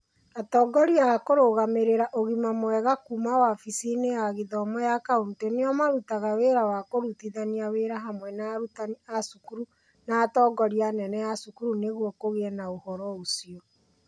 Atongoria a kũrũgamĩrĩra ũgima mwega kuuma wabici-inĩ ya gĩthomo ya county nĩo marutaga wĩra wa kũrutithania wĩra hamwe na arutani a cukuru na atongoria anene a cukuru nĩguo kũgĩe na ũhoro ũcio.